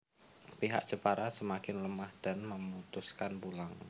Pihak Jepara semakin lemah dan memutuskan pulang